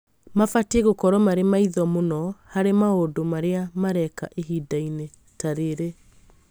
Mabatie gũkorwo marĩ maitho mũno harĩ maũndũ maria mareka ihinda-inĩ ta rĩrĩ